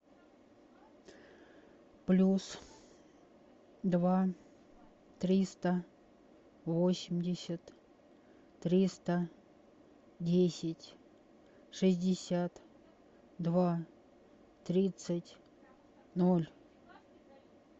плюс два триста восемьдесят триста десять шестьдесят два тридцать ноль